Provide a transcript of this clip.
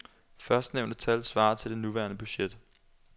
Førstnævnte tal svarer til det nuværende budget.